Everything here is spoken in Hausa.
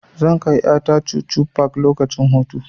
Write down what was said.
Zan kai ƴa ta chuchu park lokacin hutu.